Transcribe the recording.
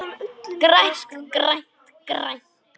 GRÆNT, GRÆNT, GRÆNT.